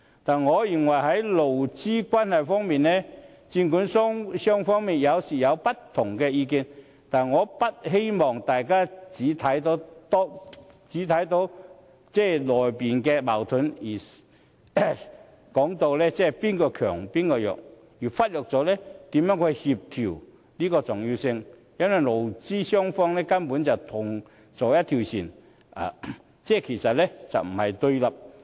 但我認為在勞資關係方面，儘管雙方有時會有不同意見，但我不希望大家只看到當中的矛盾，甚或說哪一方是強、哪一方是弱，而忽略了協調的重要性。因為勞資雙方根本是同坐一條船，不是互相對立的。